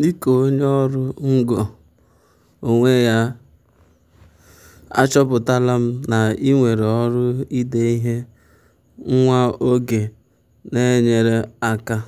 dịka onye ọrụ ngo onwe ya achọpụtala m na iwere ọrụ ide ihe nwa oge na-enyere aka um